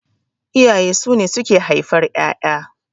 Iyaye sune auke haifar ƴaƴa